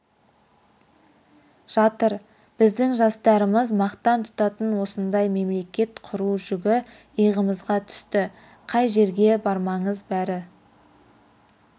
жатыр біздің жастарымыз мақтан тұтатын осындай мемлекет құру жүгі иығымызға түсті қай жерге бармаңыз бәрі